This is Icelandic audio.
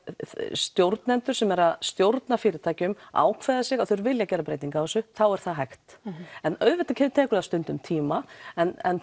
stjórnendur sem stjórna fyrirtækjum ákveði sig að þeir vilji gera breytingu á þessu þá er það hægt en auðvitað tekur það stundum tíma en